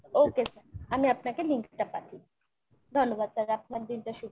okay, আমি আপনাকে link টা পাঠিয়ে দিচ্ছি, ধন্যবাদ sir আপনার দিন টা শুভ হোক।